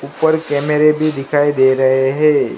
ऊपर कैमरे भी दिखाई दे रहे है।